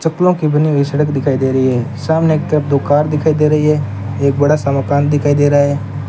चप्पलों की बनी हुई सड़क दिखाई दे रही है सामने एक तरफ दुकान दिखाई दे रही है एक बड़ा सा मकान दिखाई दे रहा है।